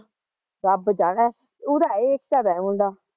ਰੱਬ ਜਾਣੇ ਉਹਦੇ ਐ ਏਕਤਾ ਦਾ ਐ ਮੁੰਡਾ